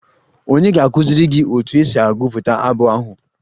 Ònye ga-akụziri gị otu esi agụpụta abụ ahụ?